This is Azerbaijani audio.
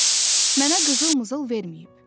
Mənə qızıl-mızıl verməyib.